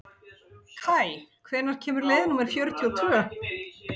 Kaj, hvenær kemur leið númer fjörutíu og tvö?